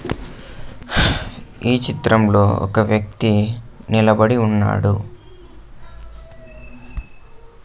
హ్ ఈ చిత్రంలో ఒక వ్యక్తి నిలబడి ఉన్నాడు.